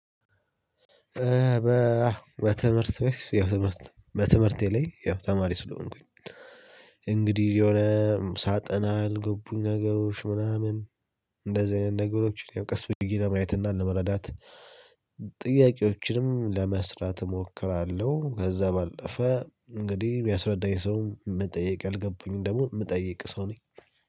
በትምህርት ቤት ያው ትምህርት በትምህርቴ ላይ ያው ተማሪ ስለሆንኩኝ እንግዲህ የሆነ ሳጠና አልገቡኝ ነገሮች ምናምን እንደዚህ አይነት ነገሮችን ያው ቀስ ብዬ ለማየት እና ለመረዳት። ጥያቄዎችንም ለመስራት እሞክራለሁ ከዛ ባለፈ እንግዲህ ቢያስረዳኝ ሰው መጠየቅ የልገቡኝን ደግሞ የምጠየቅ ሰው ነኝ።